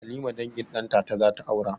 Halima dangin ɗantata zata aura